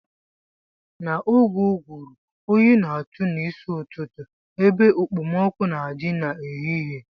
N'oge ụgụrụ oyi na-atụ n'isi ụtụtụ ebe ekpomọkụ́ na-adị n'ehihie